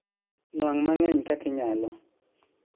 Nuang' mang'eny kaka inyalo